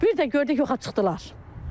Bir də gördük yox çıxdılar.